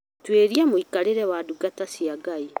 Tuĩria mũikarĩre wa ndungata cia Ngai